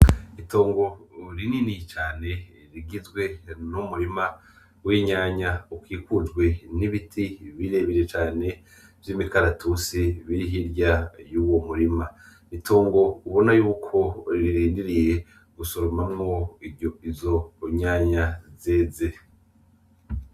Itongo rinini cane rigizwe numurima w'itomate ukikujwe n'ibiti birebire cane vy'imikaratusi birihe irya y'uwo murima, ni tongo ubona yuko riirenderiye gusoramamwo izo tomate zeze.